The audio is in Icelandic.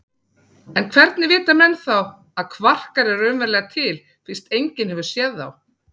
En hvernig vita menn þá að kvarkar eru raunverulega til fyrst enginn hefur séð þá?